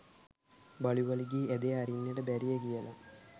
බලුවලිගයේ ඇදය අරින්නට බැරිය කියලා